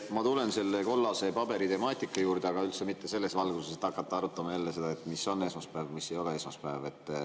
Ma tulen selle kollase paberi temaatika juurde, aga üldse mitte selles valguses, et hakata arutama, mis on esmaspäev ja mis ei ole esmaspäev.